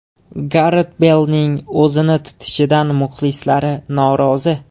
Garet Beylning o‘zini tutishidan muxlislar norozi.